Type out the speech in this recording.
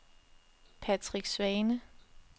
Patrick Svane